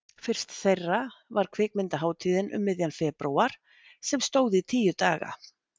Fyrst þeirra var Kvikmyndahátíðin um miðjan febrúar sem stóð tíu daga.